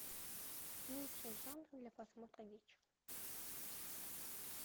лучший жанр для просмотра вечером